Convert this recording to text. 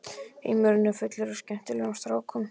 Heimurinn er fullur af skemmtilegum strákum.